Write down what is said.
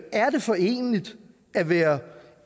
er det foreneligt at være